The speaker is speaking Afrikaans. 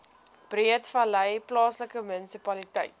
breedevallei plaaslike munisipaliteit